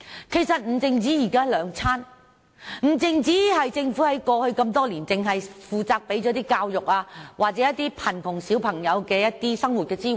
其實不止日常三餐，亦不只是政府在過去多年提供免費的教育，或向貧窮兒童提供生活支援。